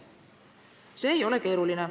See ei ole keeruline.